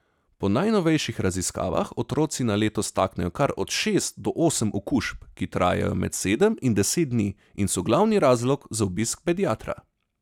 Po najnovejših raziskavah otroci na leto staknejo kar od šest do osem okužb, ki trajajo med sedem in deset dni in so glavni razlog za obisk pediatra.